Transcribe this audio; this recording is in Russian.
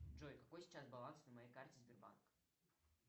джой какой сейчас баланс на моей карте сбербанк